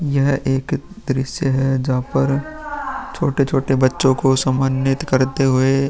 यह एक दृश्य है जहां पर छोटे छोटे बच्चों को सम्मानित करते हुए --